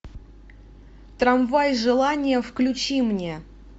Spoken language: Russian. трамвай желания включи мне